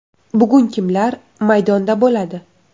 Bugun kimlar maydonda bo‘ladi?